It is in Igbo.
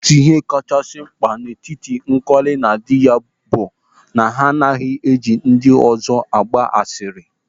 Otu ihe dị mma n'etiti Nkọli na dị ya bụ na ha agaghị eji ndị ọzọ agba asịrị.